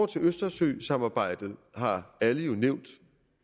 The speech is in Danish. til østersøsamarbejdet har alle jo nævnt